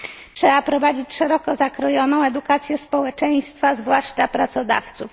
Trzeba prowadzić szeroko zakrojoną edukację społeczeństwa, zwłaszcza pracodawców.